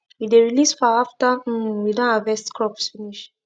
we dey release fowl after um we don harvest crops finish